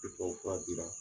Ni tubabu fura dira